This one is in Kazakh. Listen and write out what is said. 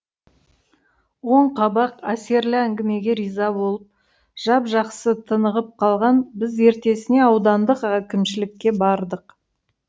оң қабақ әсерлі әңгімеге риза болып жап жақсы тынығып қалған біз ертесіне аудандық әкімшілікке бардық